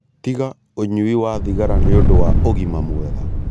Tiga ũnyui wa thigara nĩũndu wa ũgima mwega